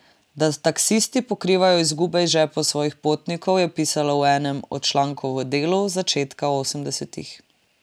Da taksisti pokrivajo izgube iz žepov svojih potnikov, je pisalo v enem od člankov v Delu z začetka osemdesetih.